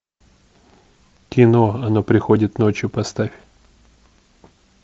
кино оно приходит ночью поставь